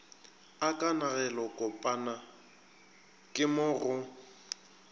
a kanegelokopana ke mo go